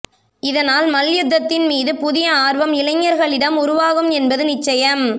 இதனால் மல்யுத்தத்தின் மீது புதிய ஆர்வம் இளைஞர்களிடம் உருவாகும் என்பது நிச்சயம்